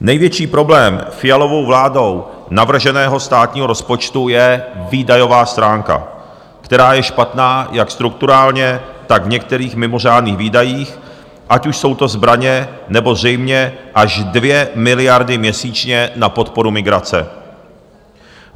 Největší problém Fialovou vládou navrženého státního rozpočtu je výdajová stránka, která je špatná jak strukturálně, tak v některých mimořádných výdajích, ať už jsou to zbraně, nebo zřejmě až 2 miliardy měsíčně na podporu migrace.